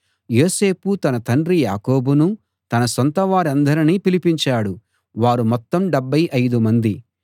యోసేపు తన తండ్రి యాకోబునూ తన సొంత వారందరినీ పిలిపించాడు వారు మొత్తం 75 మంది